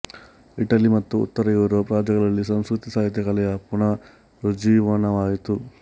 Italy ಮತ್ತು ಉತ್ತರ Europe ರಾಜ್ಯಗಳಲ್ಲಿ ಸಂಸ್ಕೃತಿ ಸಾಹಿತ್ಯ ಕಲೆಯ ಪುನರುಜ್ಜೀವನವಾಯಿತು